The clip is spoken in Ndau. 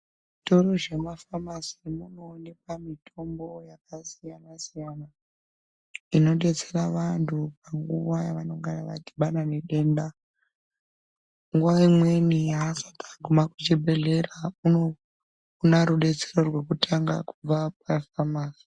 Muzvitoro zvemafamasi munoonekwa mitombo yakasiyana-siyanainodetsera vantu panguva yevanongana vadhibana nedenda. Nguwa imweni aasati aguma kuchibhedhleya , unoona rudetsero rwekutanga kubva kumafamasi.